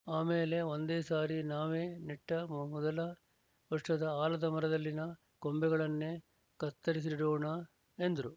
ಆಮೇಲೆ ಒಂದೇ ಸಾರಿ ನಾವೇ ನೆಟ್ಟ ಮೊದಲ ವರ್ಷದ ಆಲದ ಮರದಲ್ಲಿನ ಕೊಂಬೆಗಳನ್ನೆ ತತ್ತರಿಸಿ ನೆಡೋಣ ಎಂದ್ರು